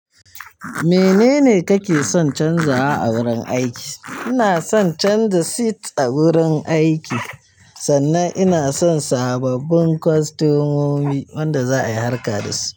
Menene kake son canzawa a wurin aiki? Ina son canza seat a wurin aiki, sannan ina son sababbin kwastomomi wanda za'ai harka dasu.